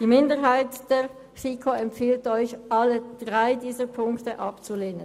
Die Minderheit der FiKo empfiehlt Ihnen, alle drei Punkte abzulehnen.